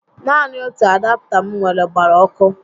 Naanị otu adapta m nwèrè gbara ọkụ